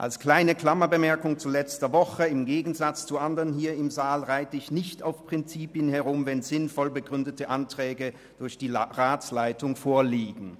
Als kleine Klammerbemerkung zu letzter Woche: Im Gegensatz zu anderen hier im Saal reite ich nicht auf Prinzipien herum, wenn sinnvoll begründete Anträge durch die Ratsleitung vorliegen.